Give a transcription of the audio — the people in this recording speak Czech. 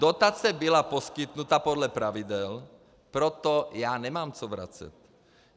Dotace byla poskytnuta podle pravidel, proto já nemám co vracet.